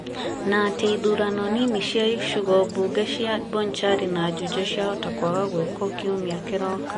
na atĩ ithurano nini cia icigo cia Bonchari na Juja ciahota kwaga gwĩkika kiumia kĩroka.